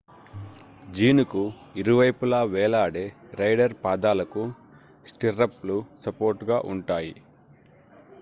జీనుకు ఇరువైపులా వేలాడే రైడర్ పాదాలకు స్టిర్రప్ లు సపోర్ట్ గా ఉంటాయి